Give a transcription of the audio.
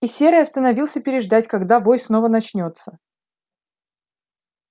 и серый остановился переждать когда вой снова начнётся